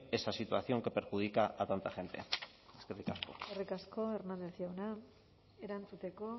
esa situación que perjudica a tanta gente eskerrik asko eskerrik asko hernández jauna erantzuteko